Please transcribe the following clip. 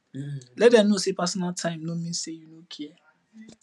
let dem no say personal time no mean say you no care